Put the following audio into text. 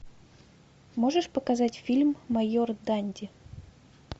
можешь показать фильм майор данди